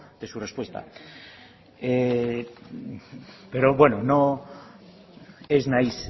de su respuesta pero bueno ez naiz